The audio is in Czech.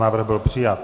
Návrh byl přijat.